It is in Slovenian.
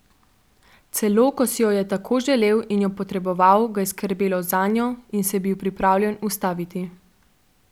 Celo ko si jo je tako želel in jo potreboval, ga je skrbelo zanjo in se je bil pripravljen ustaviti.